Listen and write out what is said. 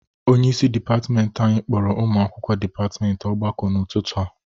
Onyeisi dịpatịmentị anyị kpọrọ ụmụ akwụkwọ dịpatịmentị ọgbakọ n'ụtụtụ a.